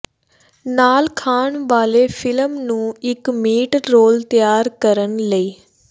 ਨਾਲ ਖਾਣ ਵਾਲੇ ਫਿਲਮ ਨੂੰ ਇੱਕ ਮੀਟ ਰੋਲ ਤਿਆਰ ਕਰਨ ਲਈ